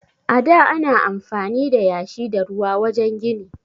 A da ana amfani da yashi da ruwa wajen gini.